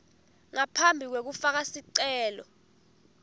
ngaphambi kwekufaka sicelo